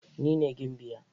Ni ne gimbiya